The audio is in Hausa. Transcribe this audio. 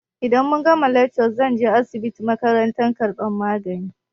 Idan muka gama lekca zan je asibitin makaranta karɓar magani.